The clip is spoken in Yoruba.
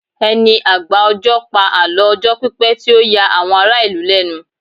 ẹni agba ọjọ pa àlọ ọjọ pipẹ ti o ya àwon ará ìlú lẹnu